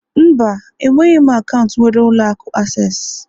Mba, enweghị m akaụntụ nwere ụlọ akụ access